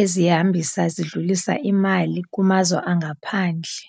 ezihambisa zidlulisa imali kumazwe angaphandle.